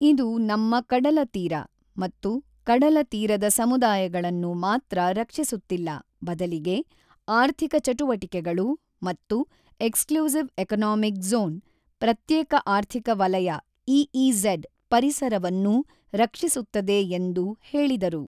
ಇದು ನಮ್ಮ ಕಡಲ ತೀರ ಮತ್ತು ಕಡಲ ತೀರದ ಸಮುದಾಯಗಳನ್ನು ಮಾತ್ರ ರಕ್ಷಿಸುತ್ತಿಲ್ಲ ಬದಲಿಗೆ ಆರ್ಥಿಕ ಚಟುವಟಿಕೆಗಳು ಮತ್ತು ಎಕ್ಸ್ಲೂಸಿವ್ ಎಕಾನಾಮಿಕ್ ಝೋನ್ ಪ್ರತ್ಯೇಕ ಆರ್ಥಿಕ ವಲಯ ಇಇಝೆಡ್ ಪರಿಸರವನ್ನೂ ರಕ್ಷಿಸುತ್ತದೆ ಎಂದು ಹೇಳಿದರು.